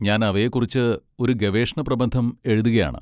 ഞാൻ അവയെക്കുറിച്ച് ഒരു ഗവേഷണപ്രബന്ധം എഴുതുകയാണ്.